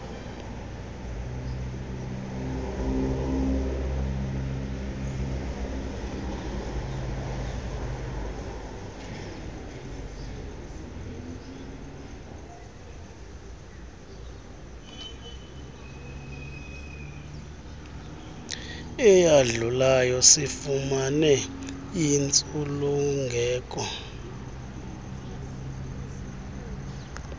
eyadlulayo sifumane intsulungeko